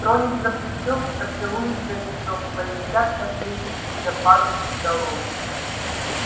тронет за плечо поцелует горячо полетят копейки из-за пазухи долой